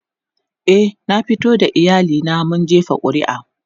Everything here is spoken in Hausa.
e na fito da iyali na mun jefa ƙuri'a